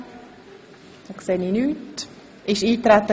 Das ist nicht der Fall.